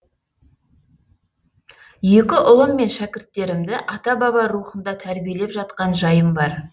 екі ұлым мен шәкірттерімді ата баба рухында тәрбиелеп жатқан жайым бар